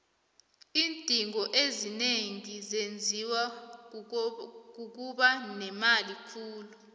iindingo ezinengi zenziwa kukuba nemali khulu